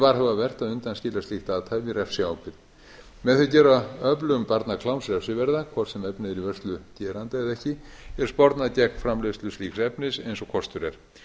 varhugavert að undanskilja slíkt athæfi refsiábyrgð með því að gera öflun barnakláms refsiverða hvort sem efnið er í vörslu geranda eða ekki er spornað gegn framleiðslu slíks efnis eins og kostur er